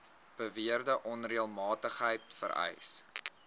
beweerde onreëlmatigheid vereis